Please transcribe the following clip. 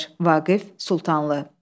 Vaqif Sultanlı.